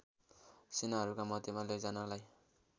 सेनाहरूका मध्यमा लैजानलाई